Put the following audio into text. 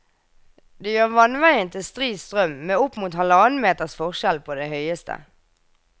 Det gjør vannveien til stri strøm med opp mot halvannen meters forskjell på det høyeste.